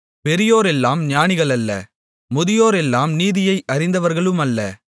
பெரியோரெல்லாம் ஞானிகளல்ல முதியோரெல்லாம் நீதியை அறிந்தவர்களுமல்ல